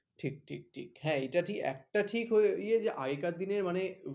ঠিক ঠিক ঠিক হ্যাঁ এইটা ঠিক একটা ঠিক ইয়ে যে আগেকার দিনের মানে